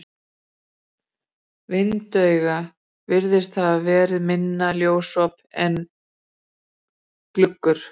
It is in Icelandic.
Vindauga virðist hafa verið minna ljósop en gluggur.